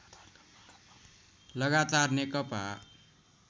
लगातार नेकपा